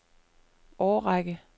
årrække